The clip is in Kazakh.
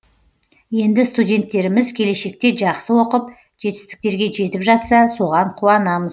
енді студенттеріміз келешекте жақсы оқып жетістіктерге жетіп жатса соған қуанамыз